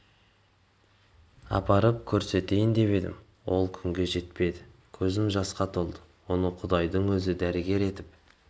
апарып көрсетейін деп едім ол күнге жетпеді көзім жасқа толды оны құдайдың өзі дәрігер етіп